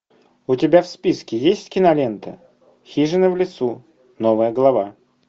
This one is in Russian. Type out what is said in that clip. у тебя в списке есть кинолента хижина в лесу новая глава